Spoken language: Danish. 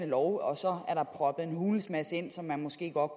love og så er der proppet en hulens masse ind som man måske godt